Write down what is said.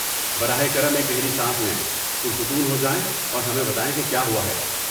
براہ کرم ایک گہری سانس لیں، پرسکون ہو جائیں اور ہمیں بتائیں کہ کیا ہوا ہے۔